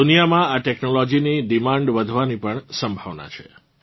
દુનિયામાં આ ટેક્નોલોજી ની ડિમાન્ડ વધવાની પણ સંભાવના છે